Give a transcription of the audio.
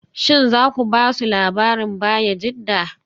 Shin za ku ba su labarin Bayajidda?